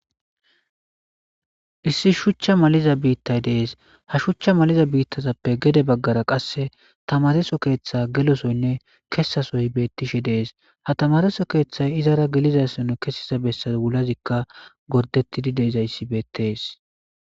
Issi shuchcha maliza biittay dees ha shuchcha maliza biittazappe gede baggara qasse tamareso keeththa gelosoynne kesasoy beettishe dees ha tamareso keeththay izara gelizassanu kessiza bessa wulazikka gordettidi deezayssi beettees